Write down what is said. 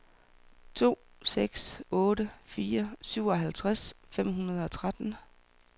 to seks otte fire syvoghalvtreds fem hundrede og tretten